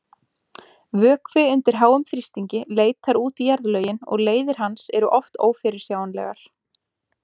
Vökvi undir háum þrýstingi leitar út í jarðlögin og leiðir hans eru oft ófyrirsjáanlegar.